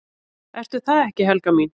"""Ertu það ekki, Helga mín?"""